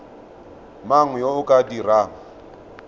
mang yo o ka dirang